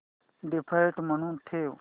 default म्हणून ठेव